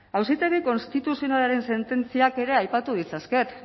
auzitegi konstituzionalaren sententziak ere aipatu ditzaket